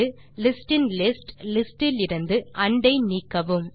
லிஸ்டின்லிஸ்ட் list இலிருந்து and ஐ நீக்கவும்